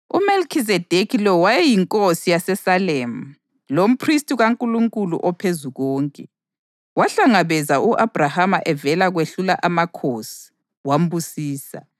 UMelikhizedekhi lo wayeyinkosi yaseSalemu lomphristi kaNkulunkulu oPhezukonke. Wahlangabeza u-Abhrahama evela kwehlula amakhosi, wambusisa,